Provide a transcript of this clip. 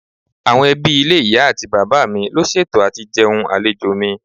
Àwọn ẹbí ilé ìyá àti bàbá mi ló ṣètò àti jẹun àlejò mi.